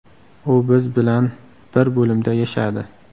U biz bilan bir bo‘limda yashadi.